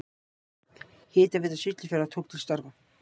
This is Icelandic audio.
Hitaveita Siglufjarðar tók til starfa.